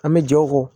An bɛ jɛ o kɔ